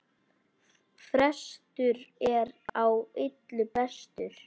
Frestur er á illu bestur!